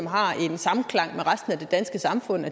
har en samklang med resten af det danske samfund